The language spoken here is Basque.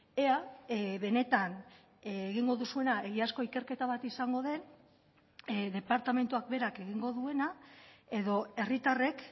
ea benetan egingo duzuena egiazko ikerketa bat izango den departamentuak berak egingo duena edo herritarrek